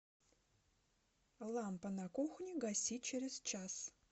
лампа на кухне гаси через час